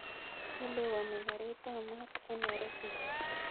Chelewani ra kartiap ap maat en nairobi yun